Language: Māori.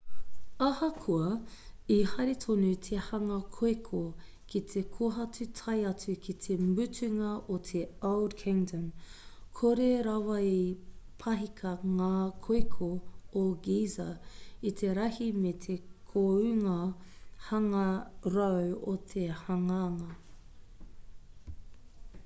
ahakoa i haere tonu te hanga-koeko ki te kohatu tae atu ki te mutunga o te old kingdom kore rawa i pahika ngā koeko o giza i te rahi me te kounga hangarau o te hanganga